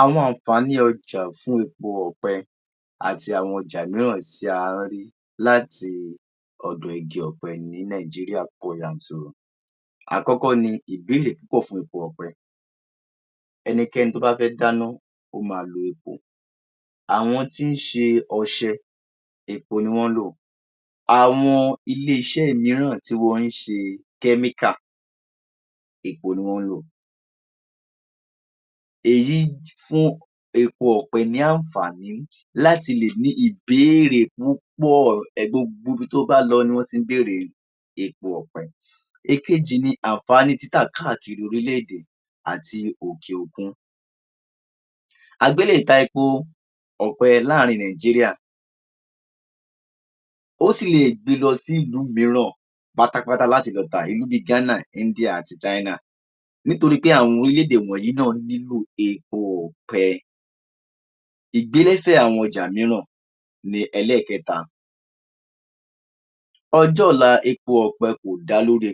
Àwọn àǹfàní ọjà fún epo ọ̀pẹ àti àwọn ọjà mìíràn tí a ń rí láti ọ̀dọ̀ igi ọ̀pẹ ní Nigeria pọ̀ yanturu. Àkọ́kọ́ ni ìbéèrè púpọ̀ fún igi ọ̀pẹ. Ẹnikẹ́ni tó bá fẹ́ dáná ó máa lo epo. Àwọn tí ń ṣe ọṣẹ, epo ni wọ́n ń lò. Àwọn ilé-iṣẹ́ mìíràn tí wọn ń ṣe chemical epo ni wọn ń lò. Èyí fún epo ọ̀pẹ ní àǹfàní láti lè ní ìbéèrè púpọ̀ gbogbo ibi tó bá lọ ni wọ́n ti ń bèèrè epo ọ̀pẹ. Èkejì ni àǹfàní títa káà kiiri orílẹ̀ èdè àti òkè òkun. Àgbẹ̀ lè ta epo láàrin Nigeria. Ó sì lè gbé e lọ sí ìlú mìíràn pátápátá láti lọ tà bíi Ghana, India àti China. Nítorí àwọn orílẹ̀ èdè wọ̀nyí náà nílò epo ọ̀pẹ. Ìgbélékè àwọn ọjà mìíràn ni ẹlẹ́ẹ̀kẹta. Ọjọ́ ọ̀la epo ọ̀pẹ kò dá lórí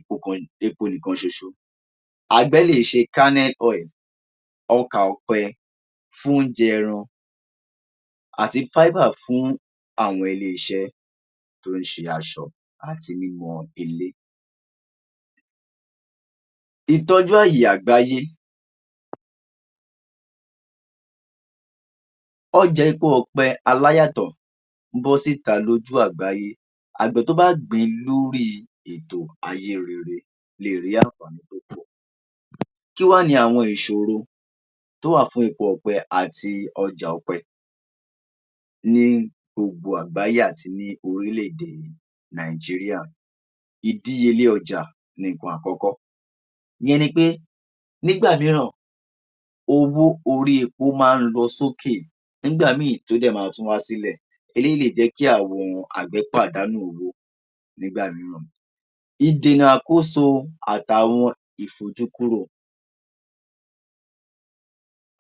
epo nìkan ṣoṣo, àgbẹ̀ lè ṣe kernel oil, ọkà ọ̀pẹ fún oúnjẹ ẹran àti fiber fún àwọn ilé-iṣẹ́ tó ń ṣe aṣọ àti mímọ ilé. Ìtọ́jú ààyè àgbáyé, ọjà epo ọ̀pẹ adáyàtọ̀ bọ́ sita lójú àgbáyé. Àgbẹ̀ tó bá gbìn ín lè gbé ètò ìgbé ayé rere le è ní àǹfàní tó pọ̀. Kí wá ni àwọn ìṣòro tó wà fún epo ọ̀pẹ àti ọjà ọ̀pẹ? Ní gbogbo àgbáyé àti ní orílẹ̀ èdè Nigeria ìdíyelé ọjà ni àkọ́kọ́. Ìyẹn ni pé nígbà míìràn, owó orí epo máa ń lọ sókè, nígbà mìíì tó dẹ̀ tún máa ń wá sílẹ̀. Eléyìí lè jẹ́ kí àwọn àgbẹ̀ pàdánù owó nígbà mìíì. Ìdènà àkóso àtàwọn ìfojúkúrò:-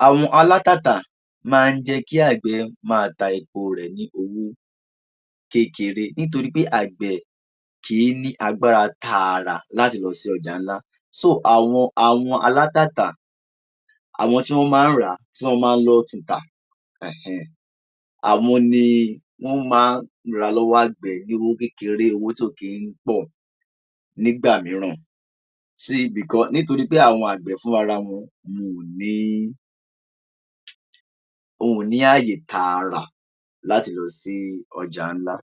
Àwọn alágbàtà máa ń jẹ́ kí àgbẹ̀ máa ta epo rẹ̀ ní owó kékeré. Nítorí pé àgbẹ̀ kìí ní agbára tààrà láti lọ sí ọjà ńlá. Sóo, àwọn alágbàtà, àwọn tí wọ́n máa ń lọ tún un tà hẹ̀-ẹń-ẹǹ, àwọn ni wọ́n máa ń rà á ní ọwọ́ àgbẹ̀ ní owó kékeré, tí kò kì ń pọ̀ nígbà mìíràn. Ṣe ibi kan, nítorí pé àwọn àgbẹ̀ fún ra wọn, ò ní ààyè tààrà láti lọ sí ọjà ńlá.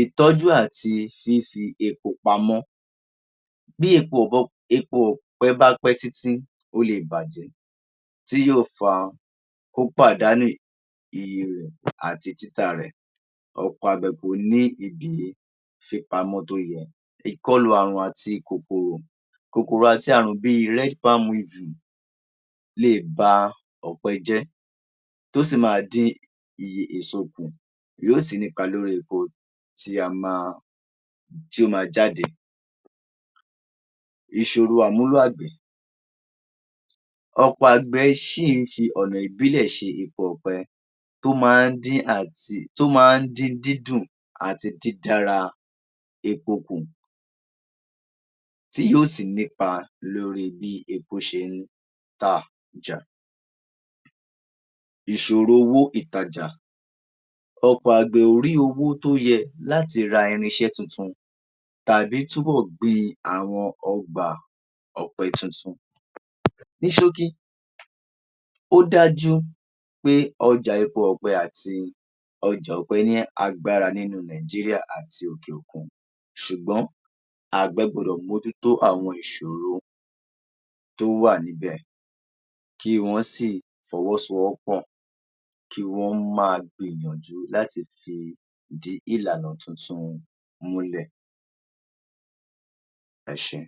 Ìtọ́jú àti fífi epo pamọ́ bépo ọ̀pẹ bá pẹ́ títí, ó le è bàjẹ́ tí yóò fa kó pàdánù èrè àti títà rẹ̀. Ọ̀pọ̀ àgbẹ̀ kò ní lè fi epo pamọ́ torí ìkọlù kòkòrò àti ààrùn bíi red palm beetle le è ba ọ̀pẹ jẹ́, ó sì máa dín iye èso kù, yóò sì nípa lórí epo tí àgbẹ̀ máa, tó máa jade. Ìṣòro àmúlò àgbẹ̀. Ọ̀pọ̀ àgbẹ̀ sì ń fi ọ̀nà ìbílẹ̀ ṣe epo ọ̀pẹ tó máa ń di àti tó máa ń díndín jù àti dídára epo kú tí yóò ṣì nípa lórí bí epo ṣe rí tà lọ́jà. Ìṣòro owó ìtajà. Ọ̀pọ̀ àgbẹ̀ kò rí owó tó díẹ̀ láti ra irin iṣẹ́ titun tàbí túbọ̀ gbin àwọn ọ̀gbà ọ̀pẹ titun. Ní ṣókí, ó dájú pé ọjà epo ọ̀pẹ àti ọjà ọ̀pẹ ni agbára nínú Nigeria àti òkè òkun. Ṣùgbọ́n àgbẹ̀ gbọdọ̀ mójútó àwọn ìṣòro tó wà níbẹ̀, kí wọn sì fọwọ́ sowọ́pọ̀ kí wọn máa gbìyànjú láti fìdí ìlànà tuntun múlẹ̀. Ẹ ṣe e.